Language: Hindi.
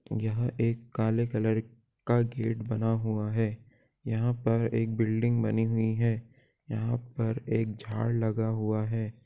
यह एक काले कलर का गेट बना हुआ है यहां पर एक बिल्डिंग बनी हुई है यहां पर एक झाड़ लगा हुआ है।